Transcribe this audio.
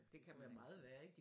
Det kan være meget værre ik